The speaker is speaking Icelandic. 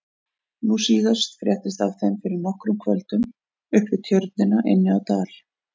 Nú síðast fréttist af þeim fyrir nokkrum kvöldum upp við Tjörnina inni á Dal.